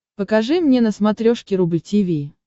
покажи мне на смотрешке рубль ти ви